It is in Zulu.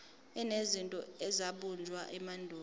enezinto ezabunjwa emandulo